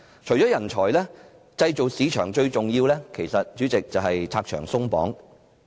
除了人才，對製造業市場最重要的是拆牆鬆綁。